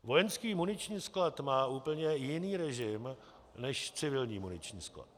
Vojenský muniční sklad má úplně jiný režim než civilní muniční sklad.